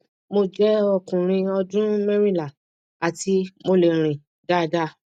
mo jẹ ọkùnrin ọdún merinla ati mo le rin dáadáa